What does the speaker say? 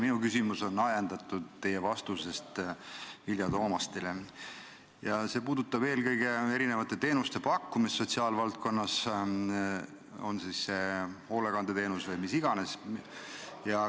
Minu küsimus on ajendatud teie vastusest Vilja Toomastile ja see puudutab eelkõige teenuste pakkumist sotsiaalvaldkonnas, on see siis hoolekandeteenus või mis iganes.